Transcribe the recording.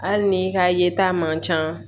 Hali n'i ka yeta man ca